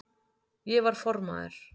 Ég var formaður